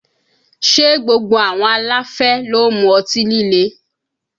Ṣé gbogbo àwọn aláfẹ́ ló ń mu ọtí líle?